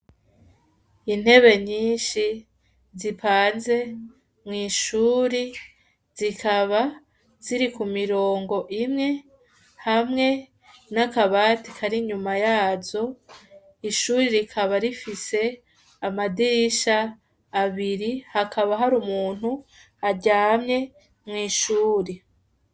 Intebe nyinshi zipanze mw'ishure zikaba ziri ku mirongo imwe hamwe n'akabati kari inyuma yazo, ishure rikaba rifise amadirisha abiri hakaba hari umuntu aryamye mw'ishure.